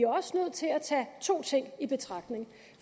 også nødt til at tage to ting i betragtning